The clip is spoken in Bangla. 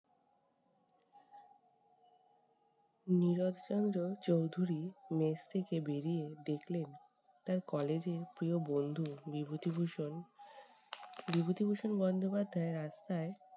নীরদ চন্দ্র চৌধুরী mess থেকে বেরিয়ে দেখলেন তার college এর প্রিয় বন্ধু বিভূতিভূষণ বিভূতিভূষণ বন্দ্যোপাধ্যায় রাস্তায়-